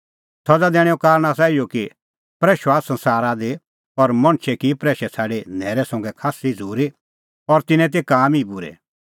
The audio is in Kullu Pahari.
सज़ा दैणैंओ कारण आसा इहअ कि प्रैशअ आअ संसारा दी और मणछै की प्रैशै छ़ाडी न्हैरै संघै खास्सी झ़ूरी और तिन्नें तै काम ई बूरै